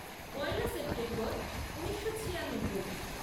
পয়লা September ঊনিশো ছিয়ানব্বই